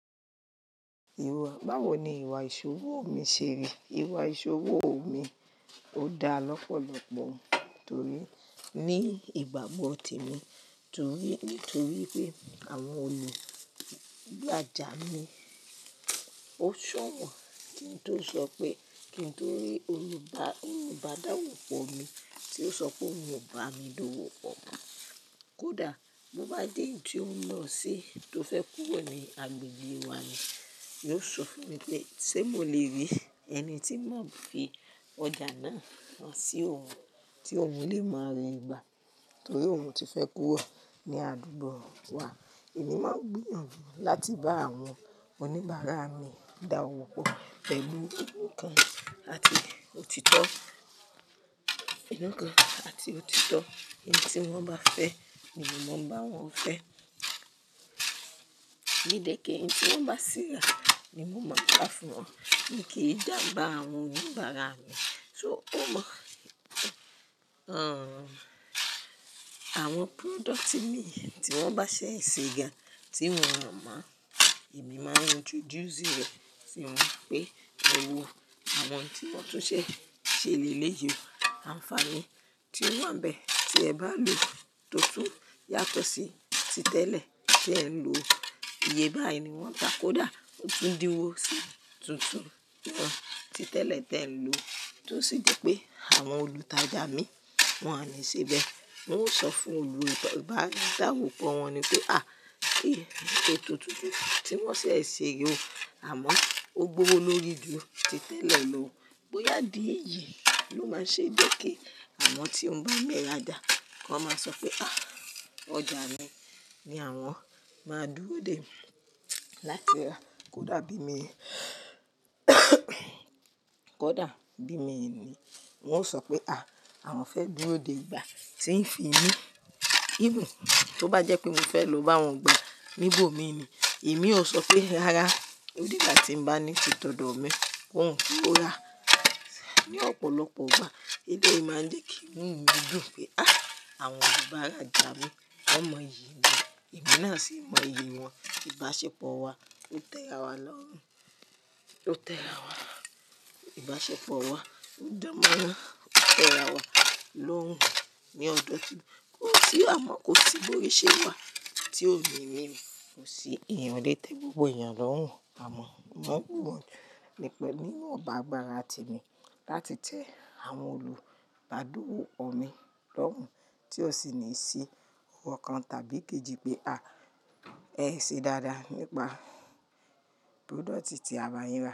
Ìwà, báwo ni ìwà ìṣòwò mi ṣe? Ìwà ìṣòwò mi ò dá lọ́pọ̀lọpọ̀ nítorí, ní ìgbàgbọ́ te mi, torí, nítorí pé àwọn olùraja mi ó ṣọ̀wọ́n kí n tó sọ pé, kí n tó rí olùbá, olùbádá òwò pọ̀ mi tó sọ pé òun ò bá mi dáwọ́ pọ̀. Kódà mo bá dé ìdí ó ń lọ sí, tó fẹ́ kúrò ní agbègbè wa ni, yóò sọ fún mi pé ṣé mo le rí ẹni tí ó máa fi ọjà náà sí òun tí òun lè máa rin ìgbà torí òun ti fẹ́ kúrò ní àdúgbò wa. Èmi máa ń gbìyànjú láti bá àwọn oníbàárà mi dáwọ́pọ̀ pẹ̀lú inú kan àti òtítọ́, inú kan àti òtítọ́. Eyín tí wọ́n bá fẹ́ ni mo máa ń bá wọn fẹ́. Mi lè kí eyín tí wọ́n bá ṣe yà ni mo máa ń bá fún wọn. Mi kì í dà ba àwọn oníbàárà mi, kí ó mọ, àwọn product mi tí wọ́n bá ṣe sè gan tí won o mọ̀, èmi máa ń introduce e rẹ̀ si wọn pé lọ wo àwọn tí wọ́n tun ṣe ṣe lè lè yọ àǹfààní tí ó wà bẹ́ẹ̀ tí ẹ bá lò tótún yàtọ̀ sí ti tẹ́lẹ̀ tí ẹ ń lò. Iye báyìí ni wọ́n ta, kódà ó tún di wó sì tuntun ti tẹ́lẹ̀ tí ẹ ń lò. Tó sì jẹ́ pé àwọn olùtajà mii wọ́n ni sebe. N óò sọ fún olùbá, dawo pọ̀ wọn ni pé à, ee, etó tuntun tí wọ́n ṣe se yi o, àmọ́ ó gbówo lórí ju ti tẹ́lẹ̀ lò. Bo yá dé yìí ló máa ń ṣe jẹ́ pé kí àwọn tí ó ń bá mi rajà kan máa sọ pé à, ọjà mi ni àwọn máa dúró dè láti rà. Kódà bí i mi kódà, bí i mii ni wọ́n ó sọ pé à, àwọn fẹ́ dúró dè ìgbà tí ń fi ni even tó bá jẹ́ pé mi fẹ́ lò bá wọn gba níbò mi ni, èmi ó sọ pé rárá, ó dé ìgbà tí ń bá ní tìtọ̀dọ̀ mi ki ohun to ra. Ni ọ̀pọ̀lọpọ̀ ìgbà, ilé yìí máa ń ṣe kí inú mi dùn pé à, àwọn olùbàràjà mi wọ́n mọ iyì mi, èmi náà sì mọ iyì wọn. Ìbáṣepọ̀ wa ó tera wa lorun, ó tera wa. Ìbáṣepọ̀ wa ó danmoran, ó tera wa lorun ní ọdún. Kó sì há mọ̀ kó sì bóri ṣe wà tí ó mì mí mi wò sí ìrànlọ́wọ́ gbogbo ènìyàn lọ́hùn. Àmọ́, mo bùwọ́lù nípa bí wọn bá gbà ara ti mi láti jẹ́ àwọn olùtajà dúwó mi lọ́hùn tí ó sì ní í ṣí owó kan tàbí kì í jí pé à ẹ ṣe dáadáa nípa product tí àwa ń rà.